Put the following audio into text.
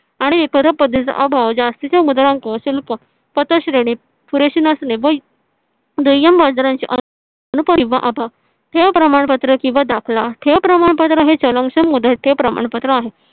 आणि पर पद्धतीचा अभाव जास्तीत मुद्रांक शिल्प पुरेशे नसणे हे ठेव प्रमाणपत्र किंवा दाखला ठेव प्रमाणपत्र हे चलक्षण मुद्रेचे प्रमाणपत्र आहे.